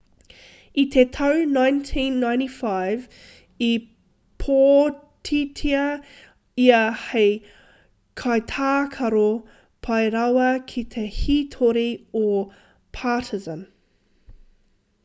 i te tau 1995 i pōtitia ia hei kaitākaro pai rawa ki te hītori o partizan